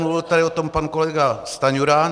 Mluvil tady o tom pan kolega Stanjura.